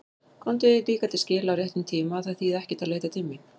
Komdu því líka til skila á réttum tíma að það þýði ekkert að leita mín.